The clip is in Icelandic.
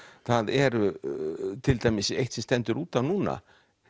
það er til dæmis eitt sem stendur út af núna